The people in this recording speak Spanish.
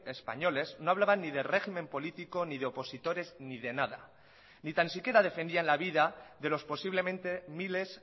españoles no hablaban ni de régimen político ni de opositores ni de nada ni tan siquiera defendían la vida de los posiblemente miles